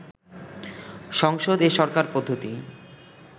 সংসদ এ সরকার পদ্ধতি